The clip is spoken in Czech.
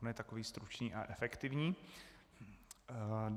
On je takový stručný a efektivní.